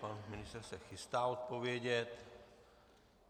Pan ministr se chystá odpovědět.